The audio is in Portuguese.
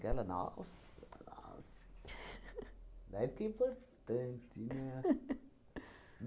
Aquela nossa, nossa! Daí fiquei importante, né?